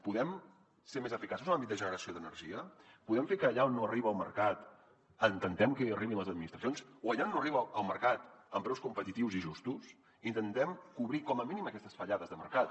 podem ser més eficaços en l’àmbit de generació d’energia podem fer que allà on no arriba el mercat intentem que hi arribin les administracions o allà on no arriba el mercat amb preus competitius i justos intentem cobrir com a mínim aquestes fallades de mercat